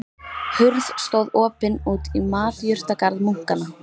Hurð stóð opin út í matjurtagarð munkanna.